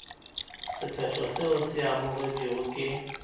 sephetho seo se amogetšwego ke